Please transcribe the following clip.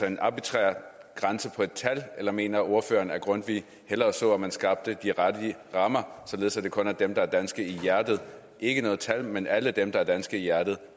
en arbitrær grænse på et tal eller mener ordføreren at grundtvig hellere så at man skabte de rette rammer således at det kun er dem der er danske i hjertet ikke noget tal men alle dem der er danske i hjertet